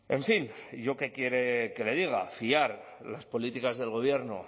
en fin y yo qué quiere que le diga fiar las políticas del gobierno